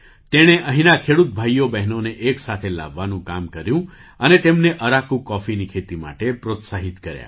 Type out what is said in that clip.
તેણે અહીંના ખેડૂત ભાઈઓ બહેનોને એક સાથે લાવવાનું કામ કર્યું અને તેમને અરાકુ કૉફીની ખેતી માટે પ્રોત્સાહિત કર્યા